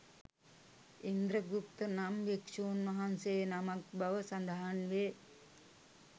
ඉන්ද්‍ර ගුප්ත නම් භික්‍ෂූන් වහන්සේ නමක් බව සඳහන් වේ.